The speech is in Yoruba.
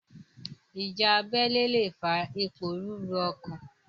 Ìjà abélé lè fa ìpòrúrú ọkàn.